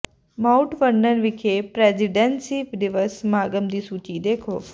mount Vernon ਵਿਖੇ presidencies ਦਿਵਸ ਸਮਾਗਮਾਂ ਦੀ ਸੂਚੀ ਦੇਖੋ